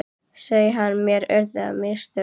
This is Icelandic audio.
sagði hann, mér urðu á mistök.